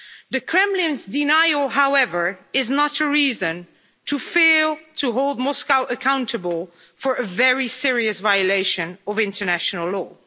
The Kremlin's denial, however, is not a reason to fail to hold Moscow accountable for a very serious violation of international law.